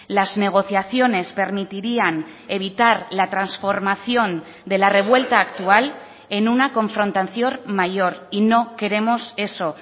las negociaciones permitirían evitar la transformación de la revuelta actual en una confrontación mayor y no queremos eso